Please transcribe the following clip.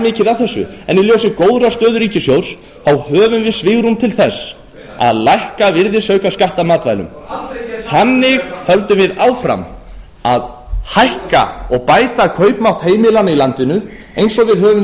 mikið að þessu en í ljósi góðrar stöðu ríkissjóðs höfum við svigrúm til þess að lækka virðisaukaskatt af matvælum þannig höldum við áfram að hækka og bæta kaupmátt heimilanna í landinu eins og við höfum